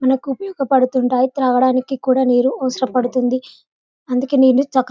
మనకు ఉపోయోగపడుతుంటాయి తాగడానికి కూడా నీళ్లు అవసర పడుతుంది. అందుకే నీళ్లు చ --